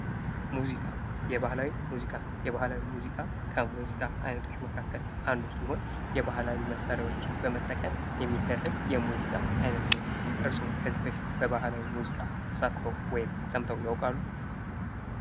ሙዚቃ የባህላዊ ሙዚቃ የባህላዊ ሙዚቃ ከሙዚቃ አይነቶች መካከል አንዱ ሲሆን የባህላዊ መሳሪያዎችን በመጠቀም የሚደረግ የሙዚቃ አይነት ነው። እርስዎ ከዚህ በፊት የባህላዊ ሙዚቃ ተሳትፈው ወይም ሰምተው ያውቃሉ?